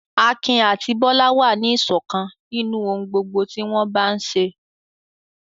Akin àti Bólú wà ní ìṣọ̀kan nínú ohun gbogbo tí wọ́n bá ń ṣe.